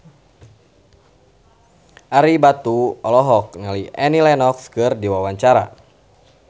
Ario Batu olohok ningali Annie Lenox keur diwawancara